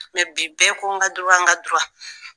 Mɛ bi bɛɛ ko n ka n ka !